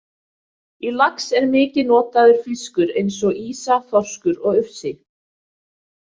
Í lax er mikið notaður fiskur eins og ýsa, þorskur og ufsi.